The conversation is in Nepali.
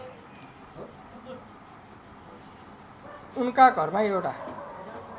उनका घरमा एउटा